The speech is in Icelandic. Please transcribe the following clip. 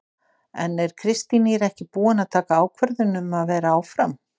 En er Kristín Ýr ekki búin að taka ákvörðun um að vera áfram?